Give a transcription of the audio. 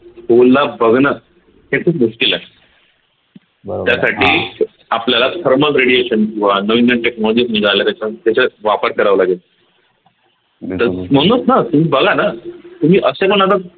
hole ला बघण हे खूप मुश्कील आहे त्यासाठी आपल्याला Thermal Radiation किंवा नवीन नवीन technologies निघाल्या त्याच्या त्याचा वापर करावा लागेल म्हणूनच न तुम्ही बघा तुम्ही असे पण आता